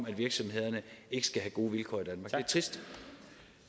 at virksomhederne ikke skal have gode vilkår